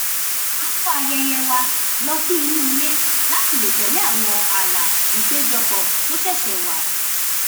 a kó ayẹyẹ wa lọ sí inú ilé láti lè tẹ̀lé àwọn ààlà ìpéjọpọ̀ tó ṣẹ̀ṣẹ̀ wà